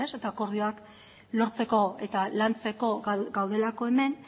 ez eta akordioak lortzeko eta lantzeko gaudelako hemen